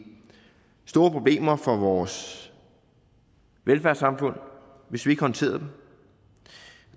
store problemer for vores velfærdssamfund hvis vi ikke håndterede